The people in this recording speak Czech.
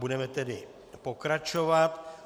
Budeme tedy pokračovat.